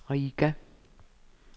Riga